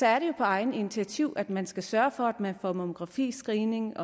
er det jo på eget initiativ at man skal sørge for at man får mammografiscreening